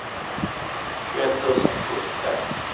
tjugoett tusen sjuttiotvå